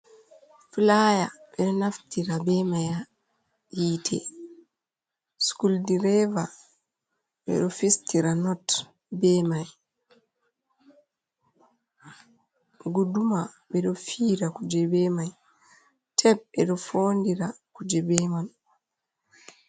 Flaya ɓeɗo naftira be may ha hiite, sculdireva ɓeɗo fistira not be mai, guduma ɓeɗo fira kuje be mai, tep ɓeɗo fondira kuje bemai.